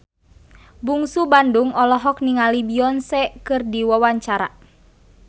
Bungsu Bandung olohok ningali Beyonce keur diwawancara